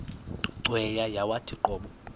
cweya yawathi qobo